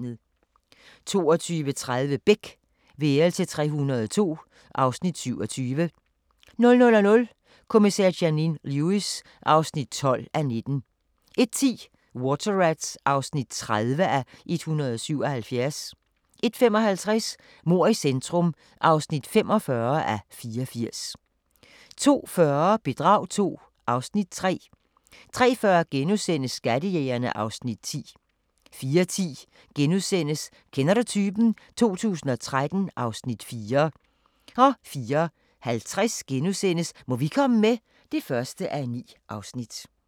22:30: Beck – værelse 302 (Afs. 27) 00:00: Kommissær Janine Lewis (12:19) 01:10: Water Rats (30:177) 01:55: Mord i centrum (45:84) 02:40: Bedrag II (Afs. 3) 03:40: Skattejægerne (Afs. 10)* 04:10: Kender du typen? 2013 (Afs. 4)* 04:50: Må vi komme med? (1:9)*